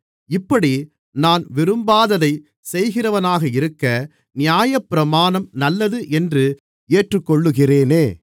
இப்படி நான் விரும்பாததைச் செய்கிறவனாக இருக்க நியாயப்பிரமாணம் நல்லது என்று ஏற்றுக்கொள்ளுகிறேனே